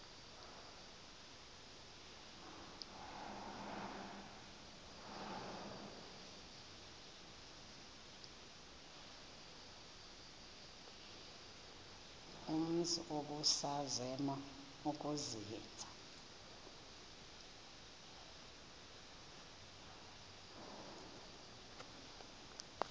umzi ubusazema ukuzinza